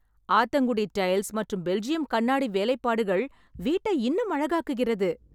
Athangudi tiles மற்றும் Belgium கண்ணாடி வேலைப்பாடுகள் வீட்டை இன்னும் அழகாக்குகிறது